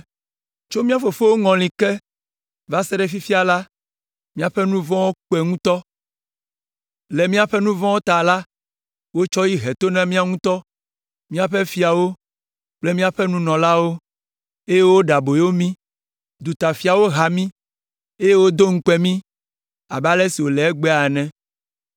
Tso mía fofowo ŋɔli ke va se ɖe fifia la, míaƒe nu vɔ̃wo kpe ŋutɔ. Le míaƒe nu vɔ̃wo ta la, wotsɔ yi he to na míawo ŋutɔ, míaƒe fiawo kple míaƒe nunɔlawo, eye woɖe aboyo mí. Dutafiawo ha mí, eye wodo ŋukpe mí abe ale si wòle egbea ene.